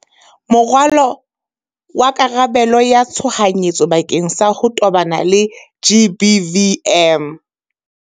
Moralo wa karabelo ya tshohanyetso bakeng sa ho tobana le GBVM